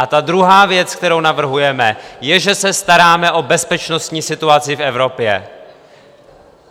A ta druhá věc, kterou navrhujeme, je, že se staráme o bezpečnostní situaci v Evropě.